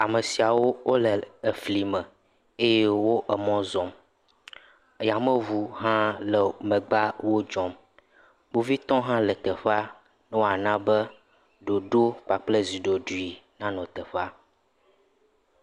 Ame siawo wole efli me eye wo emɔ zɔm. Yameŋu hã le megbea wo dzɔm. Kpovitɔ hã le teƒea ne woana be ɖoɖo kpakple zi ɖoɖui nanɔ teƒea.